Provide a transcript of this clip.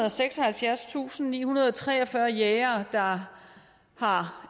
og seksoghalvfjerdstusindnihundrede og treogfyrre jægere der har